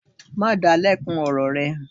Má da lẹ́kun ọ̀rọ̀ rẹ.